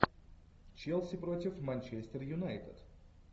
челси против манчестер юнайтед